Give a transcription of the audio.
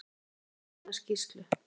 Hún hefur fengið sína skýrslu.